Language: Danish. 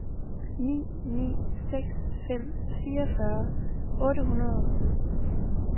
ni ni seks fem fireogfyrre otte hundrede og syv